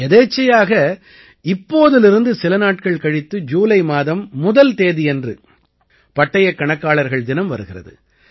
யதேச்சையாக இப்போதிலிருந்து சில நாட்கள் கழித்து ஜூலை மாதம் முதல் தேதியன்று பட்டயக் கணக்காளர்கள் தினம் வருகிறது